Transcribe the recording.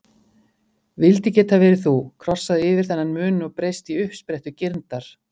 Vildi geta verið þú, krossað yfir þennan mun og breyst í uppsprettu girndar.